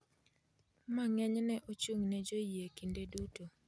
ma ng'enyne ochung’ne joyie kinde duto, .